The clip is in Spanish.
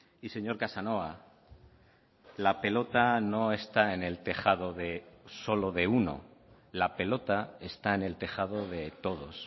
y señor casanova la pelota no está en el tejado de solo de uno la pelota está en el tejado de todos